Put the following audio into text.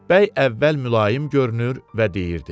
Bəy əvvəl mülayim görünür və deyirdi.